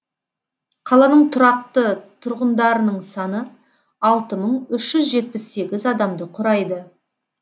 қаланың тұрақты тұрғындарының саны алты мың үш жүз жетпіс сегіз адамды құрайды